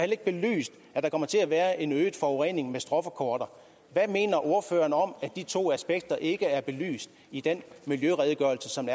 ikke belyst at der kommer til at være en øget forurening med stråforkortere hvad mener ordføreren om at de to aspekter ikke er belyst i den miljøredegørelse som